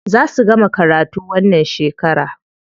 Za su gama karatu wannan shekara.